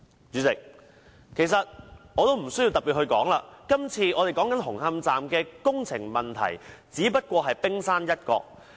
主席，其實不需要我特別說明，今次我們討論的紅磡站工程問題，只不過是冰山一角。